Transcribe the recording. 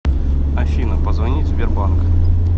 афина позвонить в сбербанк